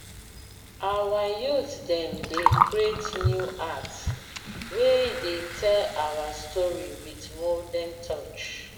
our youth dem dey create new art wey dey tell our story wit modern touch.